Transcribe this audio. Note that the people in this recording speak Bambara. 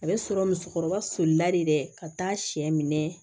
A bɛ sɔrɔ musokɔrɔba solila de dɛ ka taa sɛ minɛ